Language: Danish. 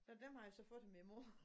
Så dem har jeg så fået af min mor